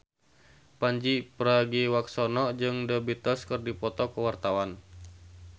Pandji Pragiwaksono jeung The Beatles keur dipoto ku wartawan